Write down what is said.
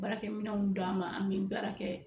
Baarakɛminɛnw d'an ma an bɛ baara kɛ